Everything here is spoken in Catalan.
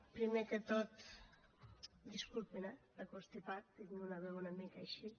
primer que tot disculpin eh el constipat tinc una veu una mica així